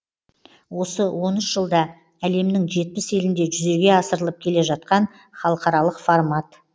осы он үш жылда әлемнің жетпіс елінде жүзеге асырылып келе жатқан халықаралық формат